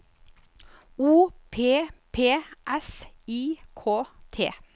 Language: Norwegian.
O P P S I K T